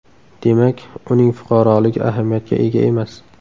Demak, uning fuqaroligi ahamiyatga ega emas.